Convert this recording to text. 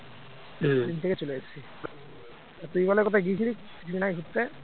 থেকে চলে এসছি। আর তুই বলে কোথায় গিয়েছিলি কিছুদিন আগে ঘুরতে?